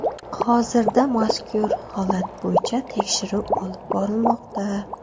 Hozirda mazkur holat bo‘yicha tekshiruv olib borilmoqda.